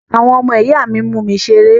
Àwọn ọmọ ìyá mi mú mi ṣeré.